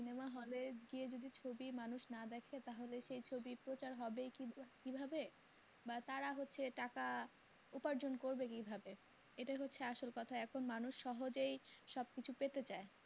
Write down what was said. ছবি মানুষ না দেখে তাহলে সেই ছবি প্রচার হবেই কি ভাবে বা তারা হচ্ছে টাকা উপার্জন করবে কি ভাবে এটাই হচ্ছে আসল কথা মানুষ সহজেই সব কিছু পেতে চায়।